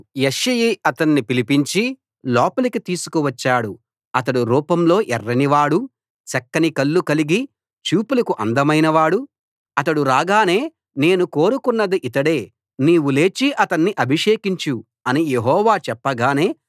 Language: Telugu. యెష్షయి అతణ్ణి పిలిపించి లోపలికి తీసుకువచ్చాడు అతడు రూపంలో ఎర్రని వాడు చక్కని కళ్ళు కలిగి చూపులకు అందమైనవాడు అతడు రాగానే నేను కోరుకొన్నది ఇతడే నీవు లేచి అతణ్ణి అభిషేకించు అని యెహోవా చెప్పగానే